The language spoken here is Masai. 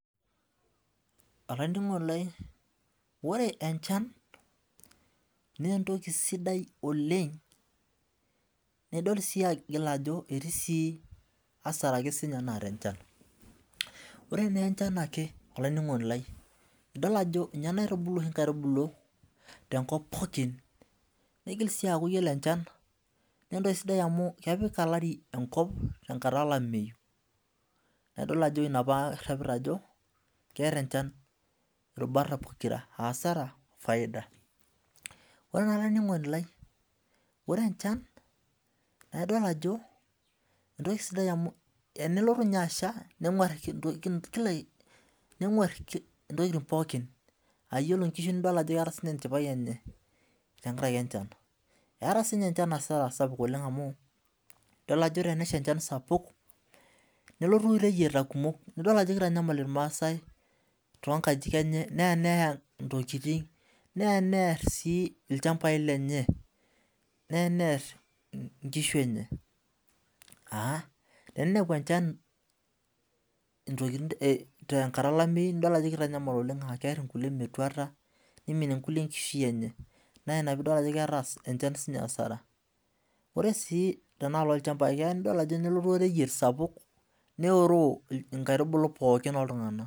Olaining'oni lai ore enchan naa entoki sidai oleng, nidol aigila ajo etii sii asara siake ninye naata enchan, ore naa enchan ake olainining'oni lai idol ninye naitibulu nkaitubulu te enkop pookin, neigil sii aaku iyolo enchan naa entoki sidai amu epil elari enkata elameiyu, adol ajo ina apa aipir ajo keeta ilchan ilbata pokira, asar ofaida. Olaininingoni lai, ore enchan naa idol ajo entoki sidai amu enelotu ninye asha nenguarr intokitin pookin, aa iyiolo inkishu nidol sii ajo keata niche enchipai enye tengaraki ench, eata sii ninye enchan asara sapuk anu idol ajo tenesha inchan sapuk nelotu reyieta kumok, nidoqjo keitanyamal ilmaasai too inkajijik enye neyaa ntokitin, neya nearr sii ilchambai lenye, neya near inkishu enye, teneleu enchan te nkata elameiyu nidol ajo keitanyamal oleng aa kearr nkule metuata neiminie nkule nkishui enye, naa inia piidol ajo keata enchan sii ninye asara, ore sui tenealo ilchambai nidol ajo kelotu oreyiet sapuk neprro inkaitubulu pookk oltungana.